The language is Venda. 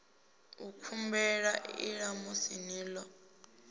nkhumbulela ii ṋamusi ni ḓo